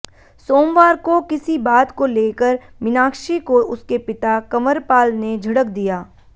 सोमवार को किसी बात को लेकर मीनाक्षी को उसके पिता कंवरपाल ने झिड़क दिया